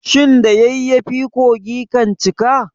Shin da yayyafi kogi kan cika.